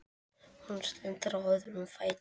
Hún stendur á öðrum fæti.